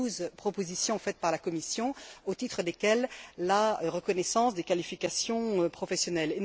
les douze propositions faites par la Commission au titre desquelles la reconnaissance des qualifications professionnelles.